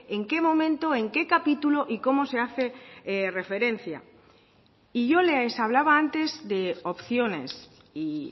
en qué momento en qué capítulo y cómo se hace referencia y yo les hablaba antes de opciones y